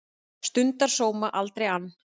Stundar sóma, aldrei ann